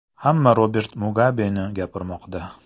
Hamma Robert Mugabeni gapirmoqda.